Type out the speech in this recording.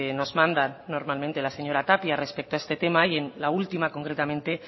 nos manda normalmente la señora tapia respecto a este tema y en la última concretamente